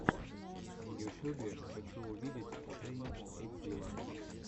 в ютюбе хочу увидеть сэйнт этилла